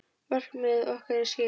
Markmið okkar er skýrt.